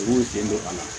U b'u sen don a la